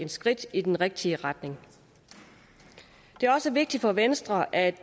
skridt i den rigtige retning det er også vigtigt for venstre at